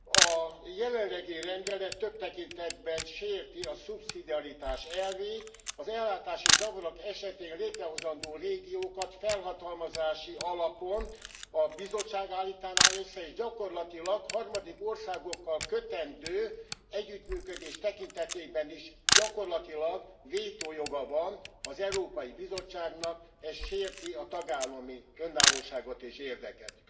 A jelenlegi rendelet több tekintetben sérti a szubszidiaritás elvét, az ellátási zavarok esetén létrehozandó régiókat felhatalmazási alapon a Bizottság állítaná össze, és gyakorlatilag harmadik országokkal kötendő együttműködés tekintetében is gyakorlatilag vétójoga van az Európai Bizottságnak, ez sérti a tagállami önállóságot és érdeket.